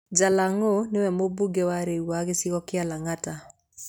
Jalangó o nĩwe Mũmbunge wa rĩu wa gĩcigo kĩa Lang'ata.